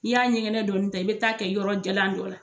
I y'a ɲɛgɛnɛ dɔɔni ta i bɛ taa kɛ yɔrɔ jalan dɔ la.